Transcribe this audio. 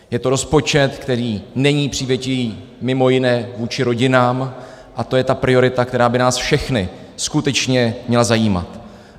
Je to rozpočet, který není přívětivý mimo jiné vůči rodinám, a to je ta priorita, která by nás všechny skutečně měla zajímat.